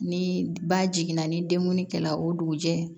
Ni ba jiginna ni dengunkɛla ye o dugujɛ